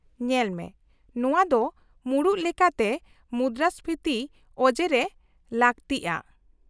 -ᱧᱮᱞᱢᱮ, ᱱᱚᱶᱟ ᱫᱚ ᱢᱩᱲᱩᱫ ᱞᱮᱠᱟᱛᱮ ᱢᱩᱫᱨᱟᱹᱥᱯᱷᱤᱛᱤ ᱚᱡᱮᱨᱮ ᱞᱟᱹᱜᱛᱤᱜᱼᱟ ᱾